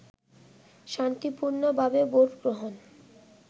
শান্তিপূর্ণভাবে ভোট গ্রহণ